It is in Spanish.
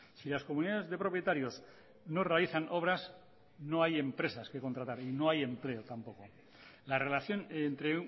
si las comunidades de propietarios no realizan obras no hay empresas que contratar no hay empleo tampoco la relación entre